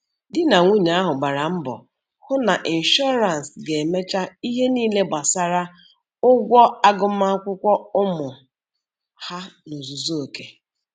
Di na nwunye ahụ gbara mbọ hụ na ịnshọrance ga-emecha ihe niile gbasara ụgwọ agụmakwụkwọ ụmụ ha n'ozuzu oke